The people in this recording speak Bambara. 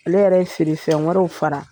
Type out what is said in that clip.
Ale yɛrɛ ye feerefɛn wɛrɛw fara.